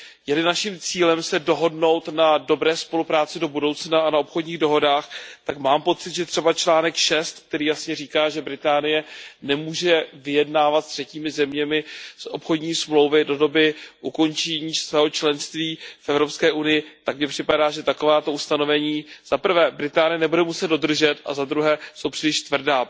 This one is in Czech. Je li naším cílem se dohodnout na dobré spolupráci do budoucna a na obchodních dohodách, tak mám pocit, že třeba bod šest, který jasně říká, že Velká Británie nemůže vyjednávat se třetími zeměmi obchodní smlouvy do doby ukončení svého členství v Evropské unii, že takováto ustanovení za prvé Velká Británie nebude muset dodržet a za druhé že jsou příliš tvrdá.